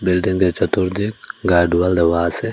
বিল্ডিংটির চতুর্দিক গাডোয়াল দেওয়া আসে।